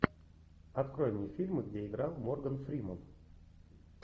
открой мне фильмы где играл морган фримен